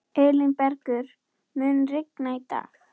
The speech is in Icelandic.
Elínbergur, mun rigna í dag?